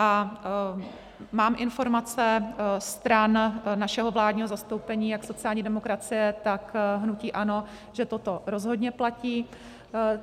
A mám informace stran našeho vládního zastoupení, jak sociální demokracie, tak hnutí ANO, že toto rozhodně platí.